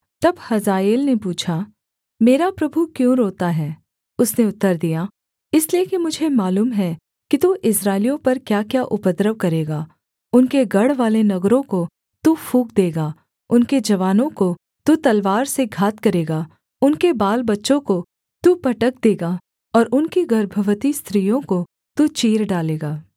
तब हजाएल ने पूछा मेरा प्रभु क्यों रोता है उसने उत्तर दिया इसलिए कि मुझे मालूम है कि तू इस्राएलियों पर क्याक्या उपद्रव करेगा उनके गढ़वाले नगरों को तू फूँक देगा उनके जवानों को तू तलवार से घात करेगा उनके बालबच्चों को तू पटक देगा और उनकी गर्भवती स्त्रियों को तू चीर डालेगा